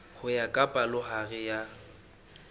ho ya ka palohare ya